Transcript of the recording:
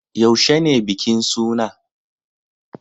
Yaushe ne bikin suna?